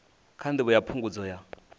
kha ndivho ya phungudzo ya